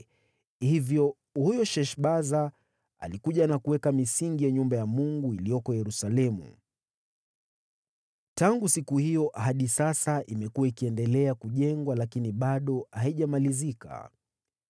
Hivyo huyu Sheshbaza alikuja na kuweka misingi ya nyumba ya Mungu iliyoko Yerusalemu. Tangu siku hiyo hadi sasa imekuwa ikiendelea kujengwa lakini bado haijamalizika.”